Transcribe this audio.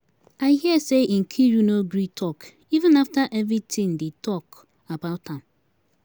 I hear say Nkiru no gree talk even after everything dey talk about am.